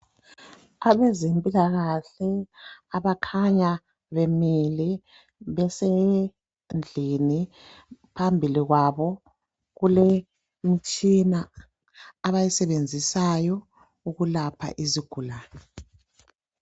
Abezempilakahle abakhanya bemile besendlini phambili kwabo kulemitshina abayisebenzisayo ukwelapha izigulane